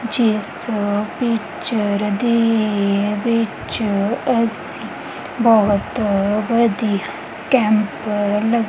ਜਿਸ ਪਿਕਚਰ ਦੇ ਵਿੱਚ ਅਸੀਂ ਬਹੁਤ ਵਧੀਆ ਕੈਂਪ ਲੱਗ --